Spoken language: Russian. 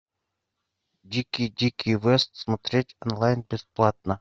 дикий дикий вест смотреть онлайн бесплатно